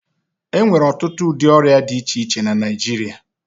E nwere ọtụtụ ụdị ọrịa di iche iche na Naịjirịa.